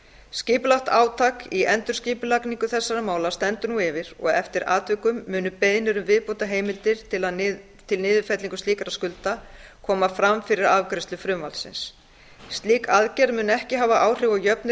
skipulagt átak í endurskipulagningu þessara mála stendur nú yfir og eftir atvikum munu beiðnir um viðbótarheimildir fyrir niðurfellingu slíkra skulda koma fram fyrir afgreiðslu frumvarpsins slík aðgerð mun ekki hafa áhrif á jöfnuð